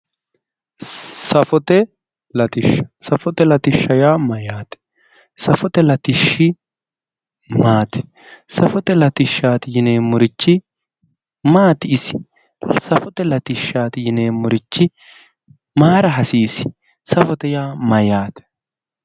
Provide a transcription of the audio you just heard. Safote latishsha safote latishsha yaa mayyaate? Safote latishshi maati? Safote latishshi yineemmorichi maati isi safote latishsha yineemmorichi mayira hasiisi? Safote yaa mayyaate?